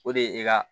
O de ye e ka